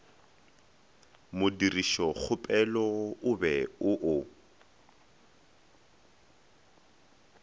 modirišokgopelo o be o o